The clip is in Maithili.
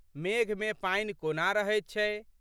मेघमे पानि कोना रहैत छै।